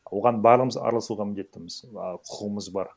оған барлығымыз араласуға міндеттіміз ааа құқымыз бар